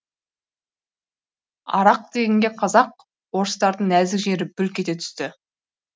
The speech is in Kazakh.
арақ дегенге қазақ орыстардың нәзік жері бүлк ете түсті